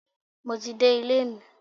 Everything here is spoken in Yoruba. Mo ti dé ilé mi.